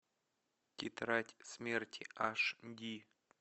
тетрадь смерти аш ди